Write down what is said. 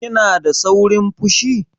Kina da saurin fushi?